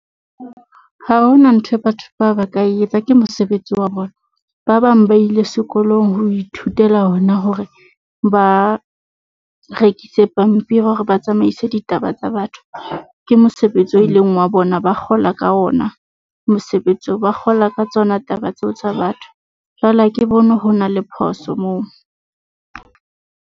Ha ho na nthwe batho ba ba ka etsa ke mosebetsi wa bona, ba bang ba ile sekolong ho ithutela ona hore ba rekise pampiri o ba tsamaise di ditaba tsa batho. Ke mosebetsi oo e leng wa bona, ba kgola ka ona mosebetsi oo. Ba kgola ka tsona taba tseo tsa batho. Jwale ha ke bone ho na le phoso moo.